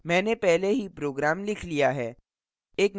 मैंने पहले ही program लिख लिया है